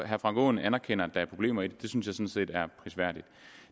herre frank aaen anerkender at der er problemer i det det synes jeg sådan set er prisværdigt